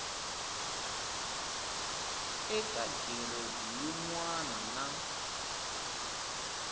eka giredi yin wana na